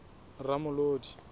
ramolodi